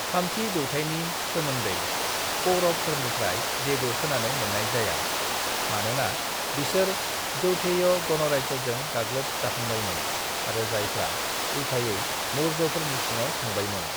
"थामथि जौथाइनि सोमोन्दै पौरवफोरनिफ्राय जेबो खोनानो मोननाय जाया, मोनोना बिसोर यौधेय गणराज्यजों गाग्लोब जाखांबायमोन आरो जायफ्रा उलथायै मौर्यफोरनि सिङाव थांबायमोन।"